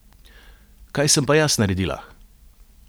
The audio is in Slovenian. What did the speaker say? Kaj sem pa jaz naredila?